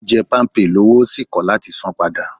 Ó jẹ́ Palmpay lọ́wọ́ ó sì kò láti san an padà